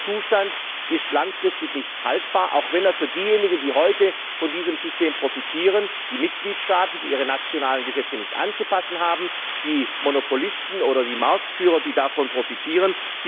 Dieser Zustand ist langfristig nicht haltbar, auch wenn manche heute von diesem System profitieren die Mitgliedstaaten, die ihre nationalen Gesetze nicht anzupassen haben, die Monopolisten oder die Marktführer, die davon profitieren.